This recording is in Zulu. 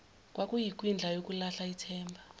kwakuyikwindla yokulahla ithemba